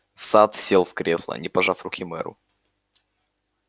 сатт сел в кресло не пожав руки мэру